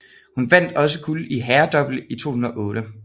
Han vandt også guld i herredouble i 2008